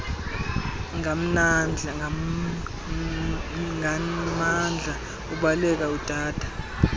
nganmandla ubaleka udada